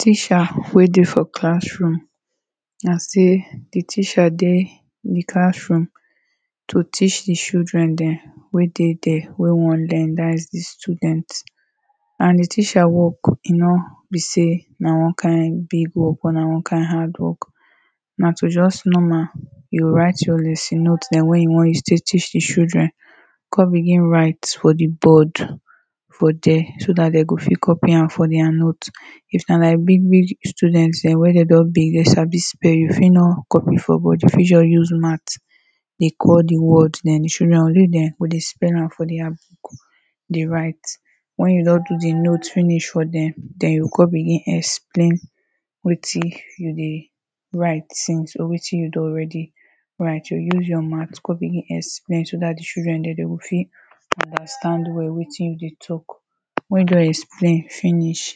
Teacher wey de for classroom na say the teacher de ehm class room to teach his children them wey deh de wey wan learn that is his students and the teacher work e no be say, na one kind big work or na one kind hard work na to just normal you go write your lesson note them wey e wan use de teach his children come begin write for the board for there, so that they go fit copy am for their note if na like big big student them wey de don big they sabi spell, you fit no copy for board you fit use mouth de call the word de call the word then you should now grade them for the spelling for their book de write when you don do the note finish for them then you go come begin explain wetin you de write since or wetin you don already write or use your mouth come begin the explain so that the children there de go fit understand well wetin you de talk when they explain finish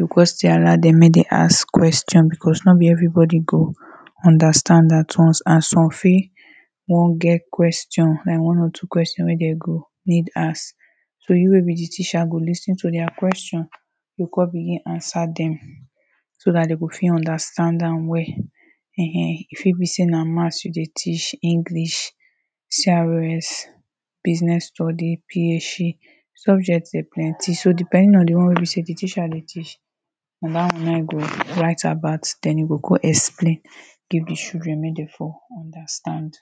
you question. Allow them make them ask question because no be evrybody go understand at once and some fit don get question then one or two question wey them go need ask so you wey be the teacher go lis ten to their question go come de begin answer them so that they go fit understand am well eh eh, e fit be say na Math you de teach, English, CRS, Business Study, PHE, subject de plenty so depending on the one wey be say the teacher de teach we now remind them, write about ten book or explain give the children make they for understand